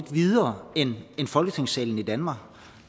videre end folketingssalen i danmark